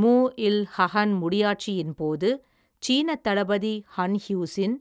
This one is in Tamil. மூ இல், ஹ்ஹன், முடியாட்சியின் போது, சீனத் தளபதி, ஹன் ஹ்யூஸின்